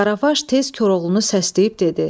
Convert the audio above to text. Qaravaş tez Koroğlunu səsləyib dedi: